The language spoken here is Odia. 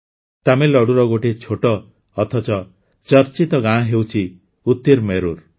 ତାମିଲନାଡ଼ୁର ଗୋଟିଏ ଛୋଟ ଅଥଚ ଚର୍ଚ୍ଚିତ ଗାଁ ହେଉଛି ଉତିରମେରୁର